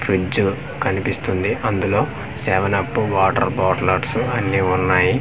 Fridge కనిపిస్తుంది అందులో seven up water బాట్లట్సు అన్నీ వున్నాయి నెక్స్ట్ .